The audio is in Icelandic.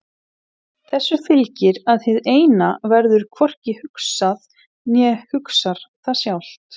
Þessu fylgir að hið Eina verður hvorki hugsað né hugsar það sjálft.